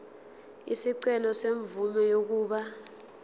isicelo semvume yokuba